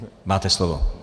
Máte slovo.